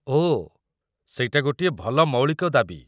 ଓଃ, ସେଇଟା ଗୋଟିଏ ଭଲ ମୌଳିକ ଦାବି ।